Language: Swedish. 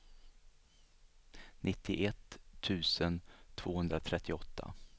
nittioett tusen tvåhundratrettioåtta